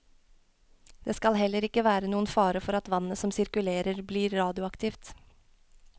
Det skal heller ikke være noen fare for at vannet som sirkulerer blir radioaktivt.